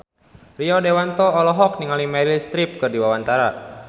Rio Dewanto olohok ningali Meryl Streep keur diwawancara